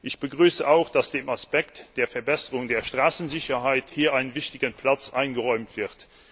Ich begrüße auch, dass dem Aspekt der Verbesserung der Straßensicherheit hier ein wichtiger Platz eingeräumt wird.